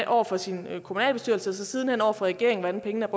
over for sin kommunalbestyrelse og sidenhen over for regeringen hvordan pengene